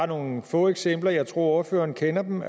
nogle få eksempler og jeg tror ordføreren kender dem